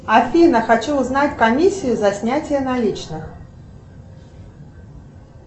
афина хочу узнать комиссию за снятие наличных